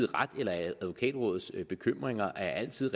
ret eller at advokatrådets bekymringer altid